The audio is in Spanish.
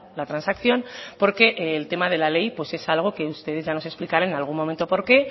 la transacción porque el tema de la ley pues es algo que ustedes ya nos explicará en algún momento por qué